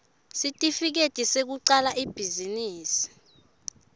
sitifiketi sekucala ibhizinisi